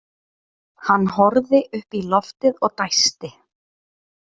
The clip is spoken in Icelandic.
Hann horfði upp í loftið og dæsti.